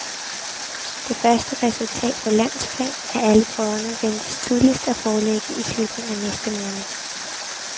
Det første resultat på landsplan af alle prøverne ventes tidligst at foreligge i slutningen af næste måned.